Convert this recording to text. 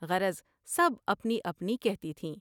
غرض سب اپنی اپنی کہتی تھیں ۔